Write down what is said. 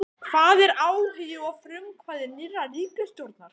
Hvar er áhugi og frumkvæði nýrrar ríkisstjórnar?